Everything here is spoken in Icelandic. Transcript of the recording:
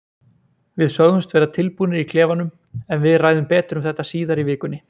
Við sögðumst vera tilbúnir í klefanum, en við ræðum betur um þetta síðar í vikunni.